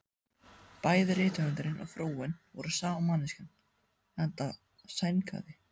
Bæði rithöfundurinn og frúin voru sama manneskjan, enda sængaði